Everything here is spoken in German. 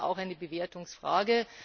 Das ist eben auch eine Bewertungsfrage.